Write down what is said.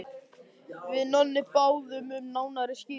Við Nonni báðum um nánari skýringu.